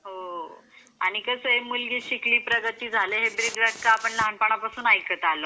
हो. आणि कसा मुलगी शिकली प्रगती झाली आपण हे ब्रिज वाक्य लहानपण पास्न ऐकत आलोय.